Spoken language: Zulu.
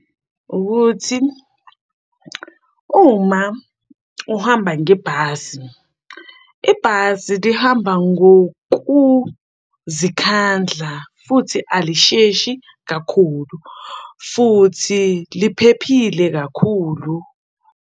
Ukuthi uma uhamba ngebhasi, ibhasi lihamba ngokuzikhandla futhi alisheshi kakhulu futhi liphephile kakhulu.